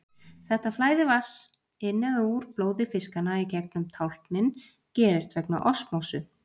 Þetta flæði vatns inn eða úr blóði fiskanna í gegnum tálknin gerist vegna osmósu.